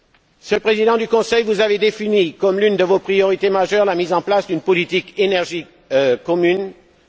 Monsieur le Président du Conseil, vous avez défini comme l'une de vos priorités majeures la mise en place d'une politique commune de l'énergie.